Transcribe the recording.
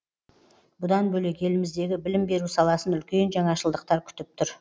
бұдан бөлек еліміздегі білім беру саласын үлкен жаңашылдықтар күтіп тұр